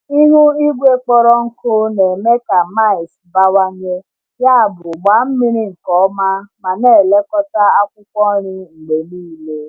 Ihu igwe kpọrọ nkụ na-eme ka mites bawanye, yabụ gbaa mmiri nke ọma ma na-elekọta akwụkwọ nri mgbe niile.